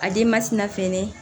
A den ma sina fɛnɛ